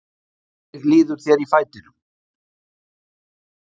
Hvernig líður þér í fætinum?